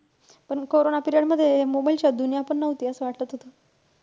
पण corona period मध्ये mobile शिवाय दुनिया पण नव्हती असं वाटत होतं.